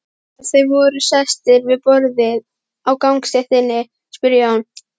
Þegar þeir voru sestir við borð á gangstéttinni spurði Jón